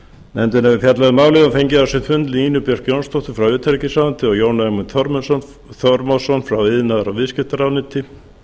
nefndin hefur fjallað um málið og fengið á sinn fund nínu björk jónsdóttur frá utanríkisráðuneyti og jón ögmund þormóðsson frá iðnaðar og viðskiptaráðuneyti